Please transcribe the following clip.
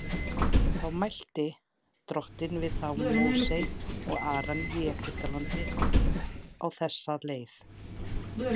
Þá mælti Drottinn við þá Móse og Aron í Egyptalandi á þessa leið:.